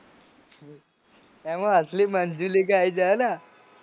એમો અસલી મન્જુલીકા આઈ જાય હે ના